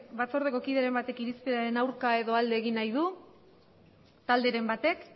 batzordeko kideren baten irizpenaren aurka edo alde egin nahi du talderen batek